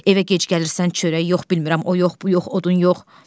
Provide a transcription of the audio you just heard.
Evə gec gəlirsən, çörəyi yox, bilmirəm, o yox, bu yox, o yox.